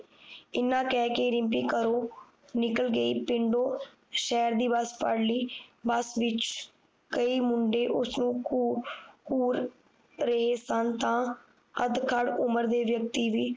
ਇੰਨਾ ਕਹਿ ਕੇ ਰਿਮਪੀ ਘਰੋਂ ਨਿਕਲ ਗਈ ਪਿੰਡੋ ਸ਼ਹਿਰ ਦੀ ਬੱਸ ਫੜ੍ਹ ਲਈ ਬੱਸ ਵਿਚ ਕਈ ਮੁੰਡੇ ਉਸਨੂੰ ਘੂਰ ਘੂਰ ਰਹੇ ਸਨ ਤਾ ਅਧਕਾਲ ਉਮਰ ਦੇ ਵਿਅਕਤੀ ਵੀ